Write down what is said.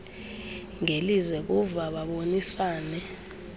ngelize kuva babonisane